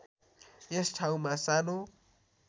यस ठाउँमा सानो